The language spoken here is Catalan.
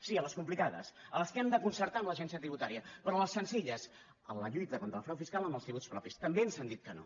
sí a les complicades a les que hem de concertar amb l’agència tributària però a les senzilles en la lluita contra el frau fiscal en els tributs propis també ens han dit que no